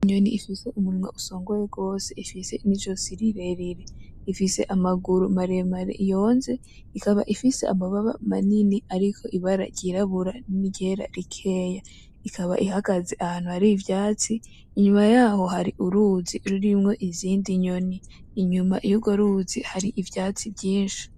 Inyoni ifise umunwa usongoye gose, ifise izosi rirerire ,ifise amaguru maremare yonze ,ikaba ifise amababa manini ariko Ibara ryirabura n'iryera rikeya. Ikaba ihagaze ahantu har'ivyatsi inyuma yaho hari uruzi rurimwo izindi nyoni, inyuma yurwo ruzi hari ivyatsi vyinshi.